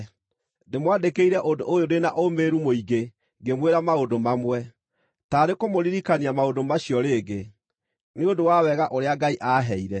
Ndĩmwandĩkĩire ũndũ ũyũ ndĩ na ũũmĩrĩru mũingĩ ngĩmwĩra maũndũ mamwe, taarĩ kũmũririkania maũndũ macio rĩngĩ, nĩ ũndũ wa wega ũrĩa Ngai aaheire,